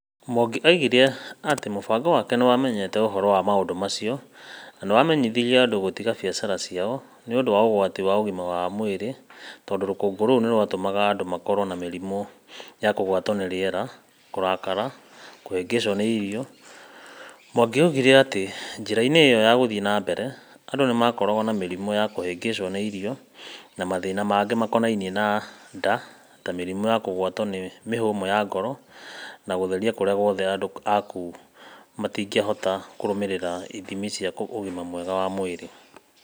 Mwangi oigire atĩ mũbango wake nĩ wamenyete ũhoro wa maũndũ macio na nĩ wamenyithirie andũ gũtiga biacara ciao nĩ ũndũ wa ũgwati wa ũgima wa mwĩrĩ tondũ rũkũngũ rũu nĩ rwatũmaga andũ makorwo na mĩrimũ ya kũgwatwo nĩ rĩera, kũrakara, na kũhĩngĩcwo nĩ irio. Mwangi oigire atĩ njĩra-inĩ ĩyo ya gũthiĩ na mbere, andũ nĩ makoragwo na mĩrimũ ya kũhĩngĩcwo nĩ irio, na mathĩna mangĩ makonainie na nda ta mĩrimũ ya kũgwatwo nĩ mĩhũmũ ya ngoro na gũtheria kũrĩa guothe andũ a kũu matingĩhota kũrũmĩrĩra ithimi cia ũgima mwega wa mwĩrĩ.